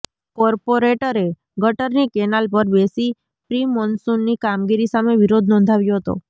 કોર્પોરેટરે ગટરની કેનાલ પર બેસી પ્રિમોન્સુનની કામગીરી સામે વિરોધ નોંધાવ્યો હતો